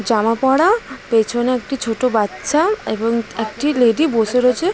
জামা পড়া পিছনে একটি ছোট বাচ্চা এবং একটি লেডি বসে রয়েছে।